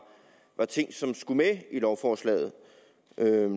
ting som skulle med i lovforslaget